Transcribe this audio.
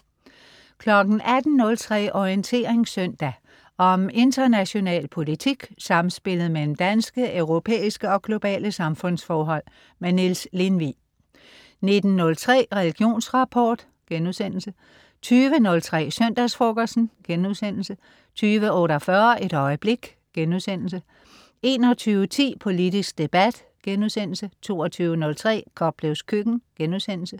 18.03 Orientering søndag. Om international politik, samspillet mellem danske, europæiske og globale samfundsforhold. Niels Lindvig 19.03 Religionsrapport* 20.03 Søndagsfrokosten* 20.48 Et øjeblik* 21.10 Politisk debat* 22.03 Koplevs Køkken*